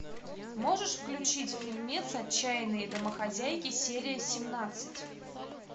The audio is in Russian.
можешь включить фильмец отчаянные домохозяйки серия семнадцать